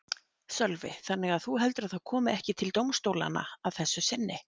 Sölvi: Þannig að þú heldur að það kom ekki til dómstólanna að þessu sinni?